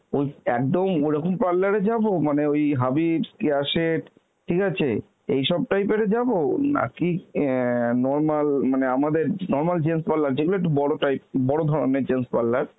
ওই একদম ওরকম parlour এ যাব? মানে ওই Habibs, Keya Seth ঠিক আছে এইসব type এর যাব নাকি অ্যাঁ normal মানে আমাদের normal gents parlour যেগুলো একটু বড় type, বড় ধরনের gents parlour